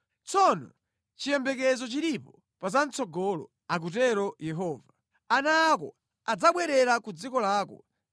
Tsono chiyembekezo chilipo pa zamʼtsogolo,” akutero Yehova. “Ana ako adzabwerera ku dziko lawo.